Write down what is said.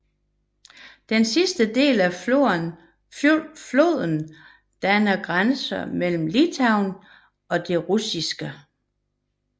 Den sidste del af floden danner grænse mellem Litauen og det russiske Kaliningrad oblast